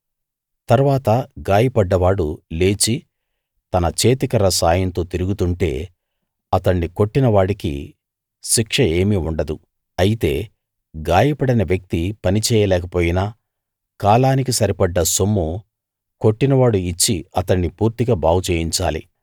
తరువాత గాయపడ్డవాడు లేచి తన చేతికర్ర సాయంతో తిరుగుతుంటే అతణ్ణి కొట్టిన వాడికి శిక్ష ఏమీ ఉండదు అయితే గాయపడిన వ్యక్తి పని చేయలేకపోయిన కాలానికి సరిపడ్డ సొమ్ము కొట్టినవాడు ఇచ్చి అతణ్ణి పూర్తిగా బాగుచేయించాలి